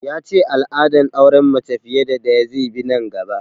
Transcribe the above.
Ya ce al'adar auren mace fiye da ɗaya zai bi nan gaba